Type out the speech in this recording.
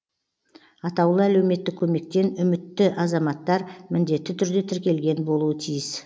атаулы әлеуметтік көмектен үмітті азаматтар міндетті түрде тіркелген болуы тиіс